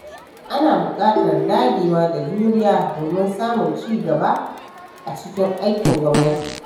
Ana buƙatar dagewa da juriya domin samun ci gaba a cikin aikin gwamnati.